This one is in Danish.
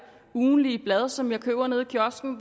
ugentlige blad som jeg køber nede i kiosken